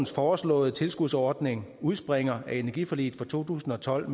foreslåede tilskudsordning udspringer af energiforliget fra to tusind og tolv